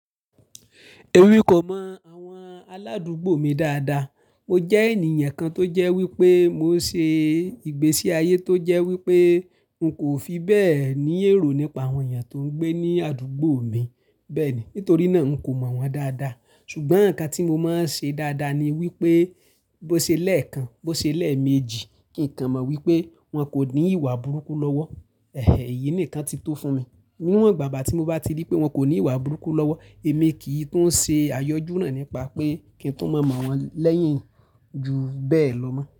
Emí kò mọ àwọn aládùúgbò mi dáadáa. Mo jẹ́ ènìyàn kan tó jẹ́ wípé mo ń ṣe ìgbésí ayé tó jẹ́ wípé n kò fi bẹ́ẹ̀ ní èrò nípa àwọn èèyàn tó ń gbé ní àdúgbò mi bẹ́ẹ̀ni. Nítorí náà, n kò mọ̀ wọ́n dáadáa. Ṣùgbọ́n nǹkan tí mo máa ń ṣe dáadáa ni wípé bó ṣe lẹ́ẹ̀kan, bó ṣe lẹ́ẹ̀mejì kí n kà mọ wípé wọn kò ní ìwà burúkú lọ́wọ́. Ẹ̀hẹ̀, èyí nìkan tí tó fún mi. Ní wan ìgbàgbà tí mo bá ti rí pé wọn kò ní ìwà burúkú lọ́wọ́, èmi kì í tún ṣe àyọjú náà nípa pé kí n tún mọ̀ wọ́n lẹ́yìn ju bẹ́ẹ̀ lọ mọ́